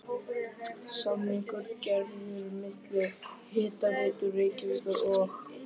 Samningur gerður milli Hitaveitu Reykjavíkur og